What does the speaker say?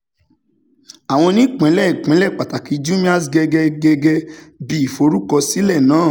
àwọn onípínlẹ̀-ìpínlẹ̀ pàtàkì jumia's gẹ́gẹ́ gẹ́gẹ́ bí ìforúkọsílẹ̀ náà;